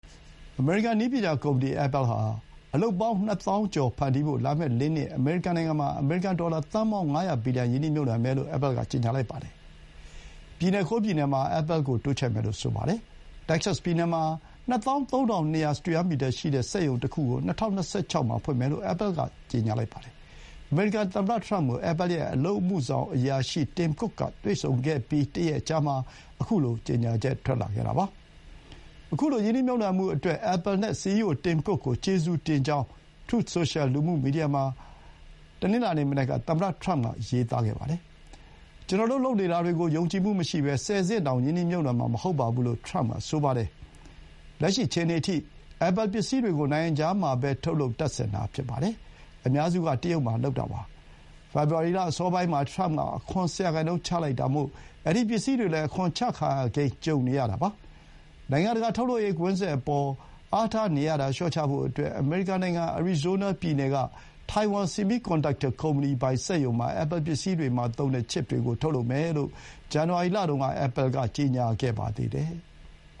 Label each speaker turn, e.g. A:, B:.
A: အမေရိကန် နည်းပညာကုမ္ပဏီ အက်ပဲလ်ဟာ အလုပ်ပေါင်း ၂၀,၀၀၀ ကျော် ဖန်တီးဖို့ လာမယ့် ၄ နှစ် အမေရိကန်နိုင်ငံမှာ အမေရိကန် ဒေါ်လာ သန်းပေါင်း ၅၀၀ ဘီလီယံ ရင်းနှီးမြှုပ်နှံမယ်လို့ Apple က ကြေညာပါတယ်။ ပြည်နယ် ၉ ပြည်နယ်မှာ Apple ကို တိုးချဲ့မယ်လို့ ဆိုပါတယ်။ တက္ကဆက်စ်ပြည်နယ်မှာ ၂၃,၂၀၀ စတုရန်းမီတာရှိတဲ့ စက်ရုံတခုကို ၂၀၂၆ မှာ ဖွင့်မယ်လို့ Apple က ပြောပါတယ်။ အမေရိကန် သမ္မတ ထရမ့်ကို Apple ရဲ့ အလုပ်အမှုဆောင်အရာရှိ Tim Cook က တွေ့ဆုံခဲ့ပြီး တရက်အကြာမှာ ခုလို ကြေညာချက် ထွက်လာခဲ့တာပါ။ ခုလို ရင်းနှီးမြှုပ်နှံမှုအတွက် Apple နဲ့ စီအီးအို Tim Cook ကို ကျေးဇူးတင်ကြောင်း Truth Social လူမှုမီဒီယာ စာမျက်နှာမှာ တနင်္လာနေ့ မနက်က သမ္မတထရမ့်က ရေးပါတယ်။ "ကျနော်တို့ လုပ်နေတာတွေကို ယုံကြည်မှုမရှိဘဲ ဆယ်ဆင့်တောင် ရင်းနှီးမြှုပ်နှံမှာ မဟုတ်ပါဘူ" လို့ ထရမ့်က ဆိုပါတယ်။ လက်ရှိအခြေအနေအထိ Apple ပစ္စည်းတွေကို နိုင်ငံခြားမှာပဲ ထုတ်လုပ် တပ်ဆင်တာ ဖြစ်ပါတယ်။ အများစုက တရုတ်မှာ လုပ်တာပါ။ ဖေဖော်ဝါရီလ အစောပိုင်းမှာ ထရမ့်က အခွန် ၁၀% တိုးချလိုက်တာမို့ အဲဒီ ပစ္စည်းတွေလည်း အခွန်တိုးချခံရကိန်း ကြုံနေရတာပါ။ နိုင်ငံတကာ ထုတ်လုပ်ရေးကွင်းဆက်အပေါ် အားထားနေရတာ လျှော့ချဖို့အတွက် အမေရိကန်နိုင်ငံ အရီဇိုးနားပြည်နယ်က ထိုင်ဝမ် ဆီမီးကွန်ဒပ်တာကုမ္ပဏီပိုင် စက်ရုံမှာ Apple ပစ္စည်းတွေမှာ သုံးတဲ့ ချစ်ပ်တွေကို ထုတ်လုပ်မယ်လို့ ဇန်နဝါရီလမှာ Apple က ကြေညာခဲ့ပါတယ်။